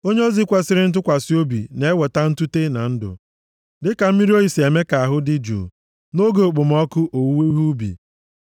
Onyeozi kwesiri ntụkwasị obi na-eweta ntute na ndụ, dịka mmiri oyi si eme ka ahụ dị jụụ nʼoge okpomọkụ owuwe ihe ubi.